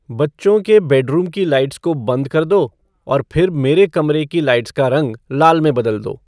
बच्चों के बेडरूम की लाइट्स को बंद कर दो और फिर मेरे कमरे की लाइट्स का रंग लाल में बदल दो